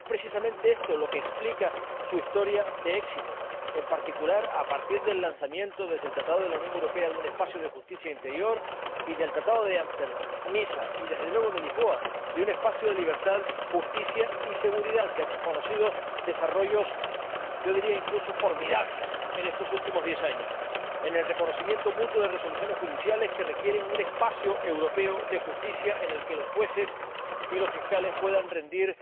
Es precisamente esto lo que explica su historia de éxito, en particular a partir del lanzamiento desde el Tratado de la Unión Europea de un espacio de justicia e interior y, con los Tratados de Ámsterdam, de Niza y, desde luego, de Lisboa, de un espacio de libertad, justicia y seguridad que ha conocido desarrollos, yo diría incluso que formidables en estos últimos diez años, en el reconocimiento mutuo de resoluciones judiciales que requieren un espacio europeo de justicia en el que los jueces y los fiscales puedan rendir